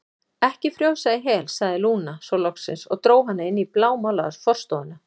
Ekki frjósa í hel, sagði Lúna svo loksins og dró hana inn í blámálaða forstofuna.